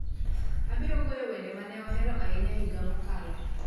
Abiro goyo wende ma ne ohero ahinya e higa mokalo